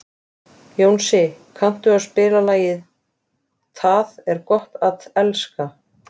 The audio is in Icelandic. Jónsi, kanntu að spila lagið „Tað er gott at elska“?